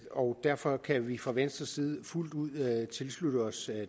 og derfor kan vi fra venstres side fuldt ud tilslutte os